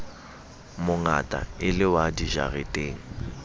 mongata e le wa dijareteng